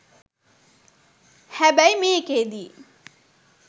හැබැයි මේකෙදි